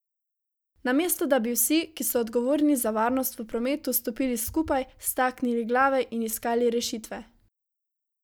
Namesto da bi vsi, ki so odgovorni za varnost v prometu, stopili skupaj, staknili glave in iskali rešitve.